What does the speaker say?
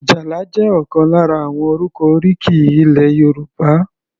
Ajala jẹ́ ọ̀kan lára àwọn orúkọ oríkì ilẹ̀ Yorùbá.